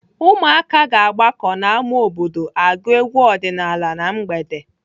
Ụmụaka ga-agbakọ n'ámá obodo agụ egwu ọdịnaala na mgbede.